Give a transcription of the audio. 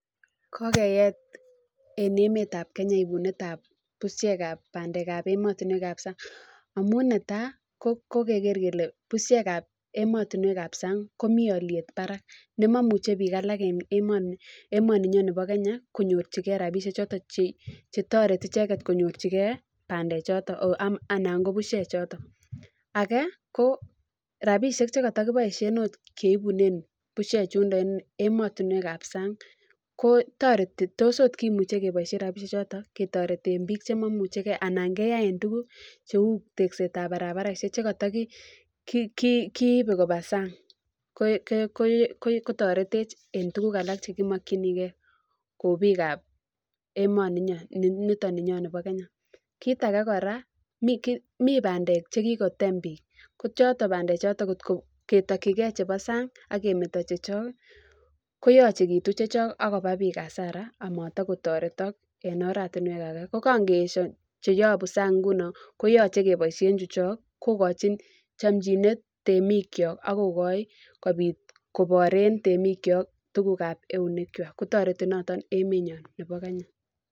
Kokeet en emetab Kenya ibunetab bushiekab bandekab emotinwekab sang' amun netai ko kokeker kele bushiekab emotinwekab sang' komi oliet barak nemamuche biik alak en emoni emoninyo nebo Kenya konyorchigei rabishe choto chetoreti icheget konyorchigei bandechoto anan ko bushechito age ko rabishek chekatakiboishe akot keibunen bushechundo en emotinwekab sang' ko toreti tos oot kimuuche keboishe rabishechoto ketoreten biik chemaimuchigei anan keyaen tukuk cheu teksetab barabareshe chekatakiibe koba sang' kotoretech eng' tukuk alak chekimokchinigei kou biikab emoni nyo nito ninyo nebo Kenya kiit age kora mi bandek chekikotem biik ko bandechoto kot ketokchigei chebo sang' akemeto chechok koyochekitu chechok akoba biik hasara amatakotoretok en oratinwek age ko kangeesho cheyobu sang' nguni koyoche keboishe chu chok kokochin chomchinet temik chok akokoi kobit koboren temikcho tukukab eunek chwai kotoreti noton emenyon nebo kenya